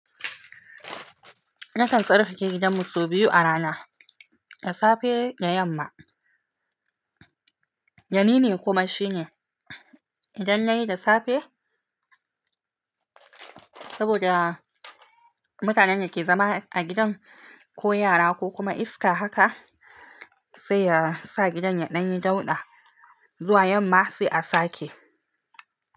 Nasan tsarkake gidan mu sau biyu a rana, da safe da yamma. Danini kuma shine idan yayi da safe saboda mutanen ne ke zama a gidan, ko yara ko kuma iska haka sai ya sa gidan ya danyi dauɗa zuwa yamma sai a sake.